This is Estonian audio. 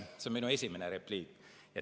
See on minu esimene repliik.